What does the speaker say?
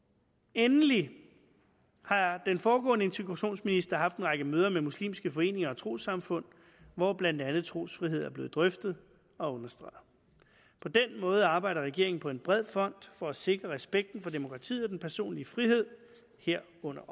endelig har den foregående integrationsminister haft en række møder med muslimske foreninger og trossamfund hvor blandt andet trosfrihed er blevet drøftet og understreget på den måde arbejder regeringen på en bred front for at sikre respekten for demokratiet og den personlige frihed herunder